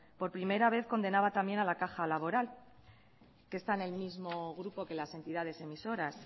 por primera vez condenaba también a la caja laboral que está en el mismo grupo que las entidades emisoras